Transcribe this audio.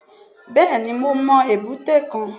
Bẹ́ẹ̀ni mo mọ èbúté kan